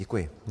Děkuji.